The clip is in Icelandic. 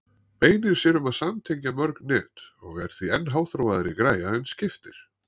Beinir sér um að samtengja mörg net og er því enn háþróaðri græja en skiptir.